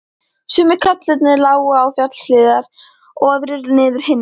Sumir kaflarnir lágu upp fjallshlíðar og aðrir niður hinum megin.